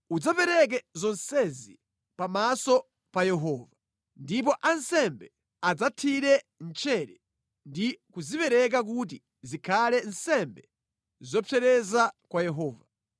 Udzapereke zonsezi pamaso pa Yehova, ndipo ansembe adzazithire mchere ndi kuzipereka kuti zikhale nsembe zopsereza kwa Yehova.